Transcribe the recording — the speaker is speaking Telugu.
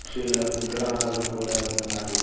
పక్షుల విగ్రహాలు కూడా ఉన్నాయి.